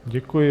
Děkuji.